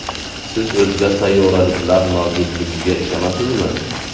Siz o‘zga sayyoraliklar mavjudligiga ishonasizmi?